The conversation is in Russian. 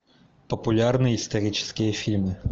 популярные исторические фильмы